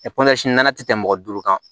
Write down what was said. nana tɛ tɛmɛ mɔgɔ duuru kan